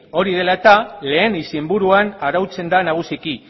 hori dela eta lehen izenburuan arautzen da nagusiki